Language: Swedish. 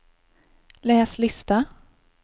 läs lista